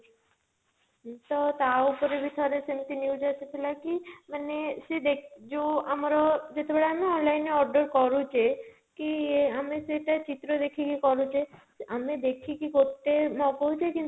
ତ ତା ଉପରେ ବି ଥରେ ସେମିତି news ଆସିଥିଲା କି ମାନେ ସେ ଯଉ ଆମର ଯେତେବେଳେ ଆମେ online ରେ order କରୁଛେ କି ଆମେ ସେଇଟା ଚିତ୍ର ଦେଖିକି କରୁଛେ ଆମେ ଦେଖିକି ଗୋଟେ ମଗଉଛେ